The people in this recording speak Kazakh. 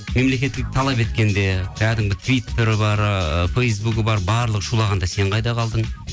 мемлекеттік талап еткенде кәдімгі твиттері бар ыыы фэйсбугі бар барлығы шулағанда сен қайда қалдың